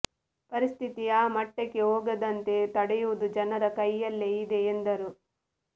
ಪರಿಸ್ಥಿತಿ ಆ ಮಟ್ಟಕ್ಕೆ ಹೋಗದಂತೆ ತಡೆಯುವುದು ಜನರ ಕೈಯಲ್ಲೇ ಇದೆ ಎಂದರು